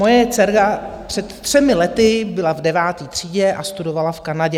Moje dcera před třemi lety byla v deváté třídě a studovala v Kanadě.